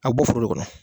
A bɛ bɔ foro kɔnɔ